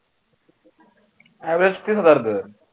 average तीन हजार धर